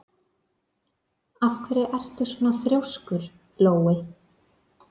Af hverju ertu svona þrjóskur, Lói?